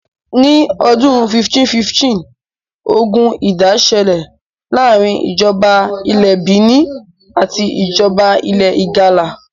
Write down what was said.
ní ọdún 1515, ogun ìdá ṣẹ̀lẹ̀ láàrin ìjọba ilẹ̀ Benin àti ìjoba ilẹ̀ ìgalà